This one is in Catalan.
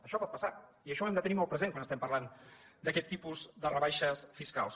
això pot passar i això ho hem de tenir molt present quan estem parlant d’aquest tipus de rebaixes fiscals